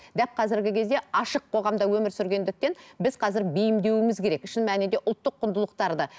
дәп қазіргі кезде ашық қоғамда өмір сүргендіктен біз қазір бейімдеуіміз керек шын мәнінде ұлттық құндылықтарды